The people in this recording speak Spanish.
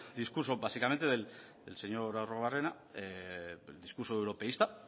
discurso básicamente del señor arruabarrena del discurso europeísta